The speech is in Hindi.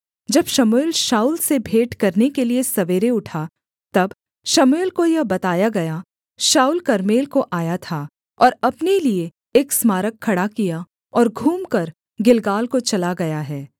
जब शमूएल शाऊल से भेंट करने के लिये सवेरे उठा तब शमूएल को यह बताया गया शाऊल कर्मेल को आया था और अपने लिये एक स्मारक खड़ा किया और घूमकर गिलगाल को चला गया है